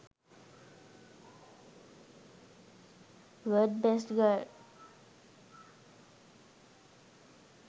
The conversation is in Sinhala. world best girl